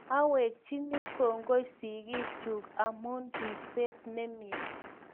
Awekchini kongoi sigik chuk amun ripset ne mye